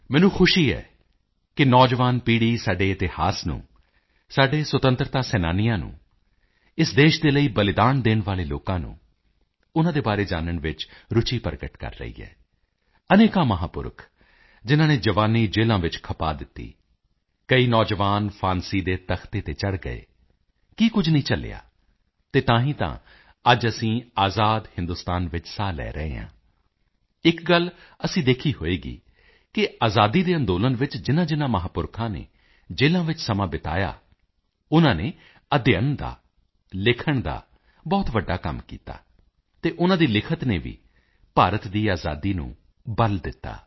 ਮੈਨੂੰ ਖੁਸ਼ੀ ਹੈ ਕਿ ਨੌਜਵਾਨ ਪੀੜੀ ਸਾਡੇ ਇਤਿਹਾਸ ਨੂੰ ਸਾਡੇ ਸੁਤੰਤਰਤਾ ਸੈਨਾਨੀਆਂ ਨੂੰ ਇਸ ਦੇਸ਼ ਦੇ ਲਈ ਬਲਿਦਾਨ ਦੇਣ ਵਾਲੇ ਲੋਕਾਂ ਨੂੰ ਉਨਾਂ ਦੇ ਬਾਰੇ ਜਾਨਣ ਵਿੱਚ ਰੁਚੀ ਪ੍ਰਗਟ ਕਰ ਰਹੀ ਹੈ ਅਨੇਕਾਂ ਮਹਾਪੁਰਖ ਜਿਨਾਂ ਨੇ ਜਵਾਨੀ ਜੇਲਾਂ ਵਿੱਚ ਖਪਾ ਦਿੱਤੀ ਕਈ ਨੌਜਵਾਨ ਫਾਂਸੀ ਦੇ ਤਖ਼ਤੇ ਤੇ ਚੜ ਗਏ ਕੀ ਕੁਝ ਨਹੀਂ ਝੱਲਿਆ ਅਤੇ ਤਾਂ ਹੀ ਤਾਂ ਅੱਜ ਅਸੀਂ ਆਜ਼ਾਦ ਹਿੰਦੁਸਤਾਨ ਵਿੱਚ ਸਾਹ ਲੈ ਰਹੇ ਹਾਂ ਇੱਕ ਗੱਲ ਅਸੀਂ ਦੇਖੀ ਹੋਵੇਗੀ ਕਿ ਆਜ਼ਾਦੀ ਦੇ ਅੰਦੋਲਨ ਵਿੱਚ ਜਿਨਾਂਜਿਨਾਂ ਮਹਾਪੁਰਖਾਂ ਨੇ ਜੇਲਾਂ ਵਿੱਚ ਸਮਾਂ ਬਿਤਾਇਆ ਉਨਾਂ ਨੇ ਅਧਿਐਨ ਦਾ ਲਿਖਣ ਦਾ ਬਹੁਤ ਵੱਡਾ ਕੰਮ ਕੀਤਾ ਅਤੇ ਉਨਾਂ ਦੀ ਲਿਖਤ ਨੇ ਵੀ ਭਾਰਤ ਦੀ ਆਜ਼ਾਦੀ ਨੂੰ ਬਲ ਦਿੱਤਾ